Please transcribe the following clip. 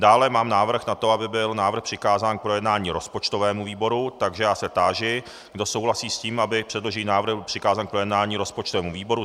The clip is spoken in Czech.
Dále mám návrh na to, aby byl návrh přikázán k projednání rozpočtovému výboru, takže já se táži, kdo souhlasí s tím, aby předložený návrh byl přikázán k projednání rozpočtovému výboru.